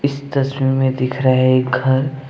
इस तस्वीर में दिख रहा है एक घर।